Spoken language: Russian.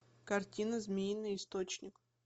картина змеиный источник